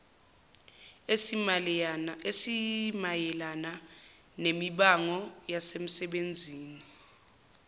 esimayelana nemibango yasemsebenzini